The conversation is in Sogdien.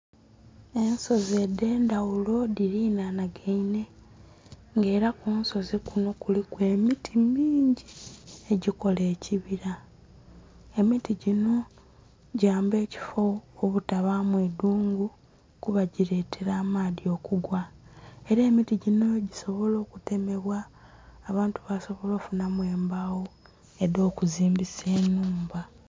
Ensozi edh'endhaghulo dhililainhagainhe nga ela mu nsozi kunho kuliku emiti mingi egikola ekibira. Emiti ginho gyamba ekifo obutabaamu idhungu kuba gileetela amaadhi okugwa. Ela emiti ginho gisobola okutemebwa abantu basobola okufunhamu embagho edh'okuzimbisa enhumba.